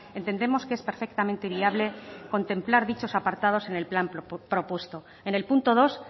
entendemos que es perfectamente viable contemplar dichos apartados en el plan propuesto en el punto dos